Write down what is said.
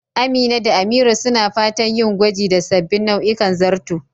Amina da Amira suna fatan yin gwaji da sabbin nau'ikan zarto